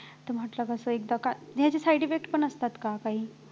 ते म्हणतात तस एकदा का नाही ह्याचे side effects पण असतात का काही